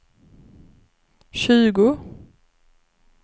tjugo